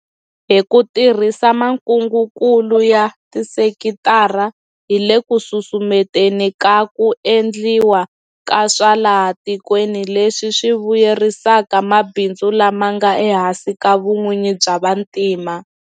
Hi ku tirhisa makungukulu ya tisekitara hi le ku susumeteni ka ku endliwa ka swa laha tikweni leswi swi vuyerisaka mabindzu lama nga ehansi ka vun'wini bya vantima.